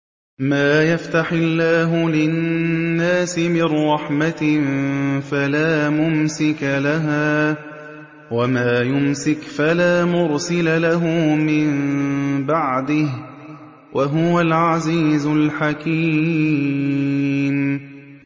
مَّا يَفْتَحِ اللَّهُ لِلنَّاسِ مِن رَّحْمَةٍ فَلَا مُمْسِكَ لَهَا ۖ وَمَا يُمْسِكْ فَلَا مُرْسِلَ لَهُ مِن بَعْدِهِ ۚ وَهُوَ الْعَزِيزُ الْحَكِيمُ